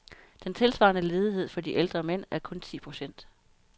Den tilsvarende ledighed for de ældre mænd er kun ti procent.